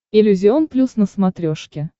иллюзион плюс на смотрешке